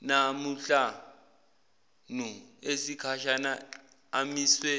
namahlanu esikhashana amiswe